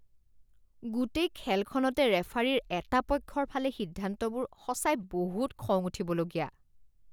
গোটেই খেলখনতে ৰেফাৰীৰ এটা পক্ষৰ ফালে সিদ্ধান্তবোৰ সঁচাই বহুত খং উঠিবলগীয়া